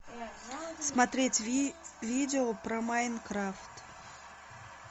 смотреть видео про майнкрафт